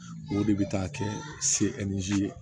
O de bɛ taa kɛ selizi